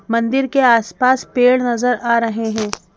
मंदिर के आसपास पेड़ नजर आ रहे हैं।